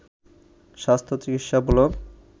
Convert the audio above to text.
স্বাস্থ্য চিকিৎসা ব্লগ